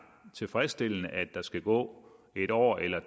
tilfredsstillende at der skal gå en år eller